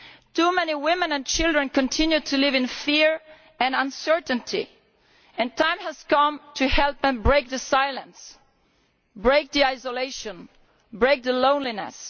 Too many women and children continue to live in fear and uncertainty and the time has come to help them break the silence, break the isolation, break the loneliness.